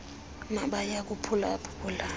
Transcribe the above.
nabaya kuphula phula